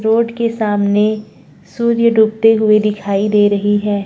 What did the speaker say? Road के सामने सूर्य डूबते हुए दिखाई दे रही है।